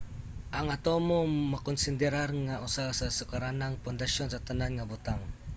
ang atomo makonsederar nga usa sa sukaranang pundasyon sa tanan nga butang